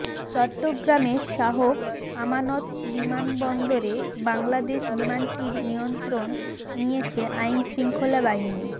চট্টগ্রামের শাহ আমানত বিমানবন্দরে বাংলাদেশ বিমানটির নিয়ন্ত্রণ নিয়েছে আইনশৃঙ্খলা বাহিনী